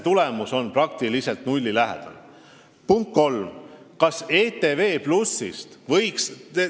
Punkt kolm: kas ETV+-ist võiks ...